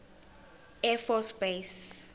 air force base